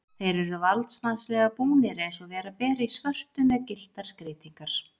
Þeir eru valdsmannslega búnir, eins og vera ber, í svörtu með gylltar skreytingar.